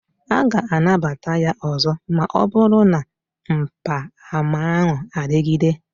A ga-anabata ya ọzọ ma ọ bụrụ na mgbaàmà ahụ adịgide